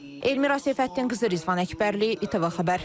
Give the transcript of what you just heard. Elmira Seyfəddin qızı Rizvan Əkbərli, İTV xəbər.